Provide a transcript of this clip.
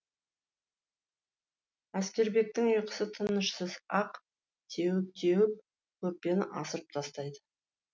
әскербектің ұйқысы тынышсыз ақ теуіп теуіп көрпені асырып тастайды